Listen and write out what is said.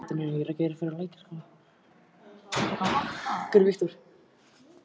En hann mundi ekki skilja mig.